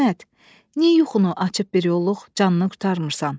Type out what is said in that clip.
Əhməd, niyə yuxunu açıb bir yolğluq canını qurtarmırsan?